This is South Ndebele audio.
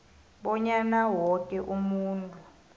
bonyana woke umuntu